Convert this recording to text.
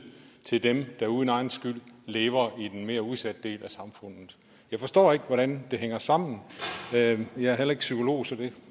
til dem der uden egen skyld lever i den mere udsatte del af samfundet jeg forstår ikke hvordan det hænger sammen jeg er heller ikke psykolog så